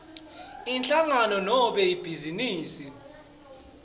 inhlangano nobe ibhizinisi